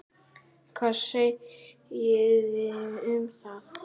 Hvað segiði um það?